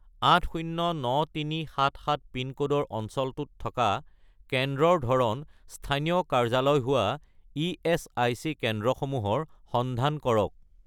809377 পিনক'ডৰ অঞ্চলটোত থকা কেন্দ্ৰৰ ধৰণ স্থানীয় কাৰ্যালয় হোৱা ইএচআইচি কেন্দ্ৰসমূহৰ সন্ধান কৰক